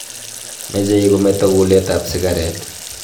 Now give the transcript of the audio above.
Mechei kemeto kulet ap sikaret